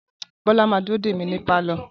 Bola ma dúró dè mí ní pálọ̀